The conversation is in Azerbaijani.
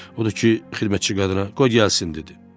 Odur ki, xidmətçi qadına, qoy gəlsin dedi.